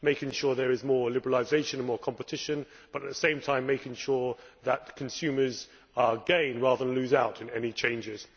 making sure that there is more liberalisation and more competition but at the same time making sure that consumers gain rather than lose out in any changes